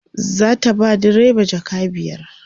zata ba direba jaka biyar